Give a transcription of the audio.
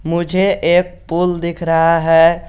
मुझे एक पुल दिख रहा है।